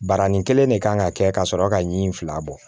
Barani kelen de kan ka kɛ ka sɔrɔ ka ɲi fila bɔ